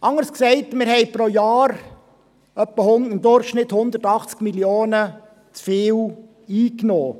Anders gesagt, haben wir pro Jahr im Durchschnitt 180 Mio. Franken zu viel eingenommen.